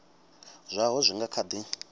zwaho zwi nga kha di